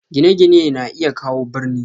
Gine-gine na iya kawo birni.